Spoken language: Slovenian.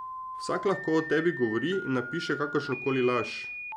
Vsak lahko o tebi govori in napiše kakršnokoli laž.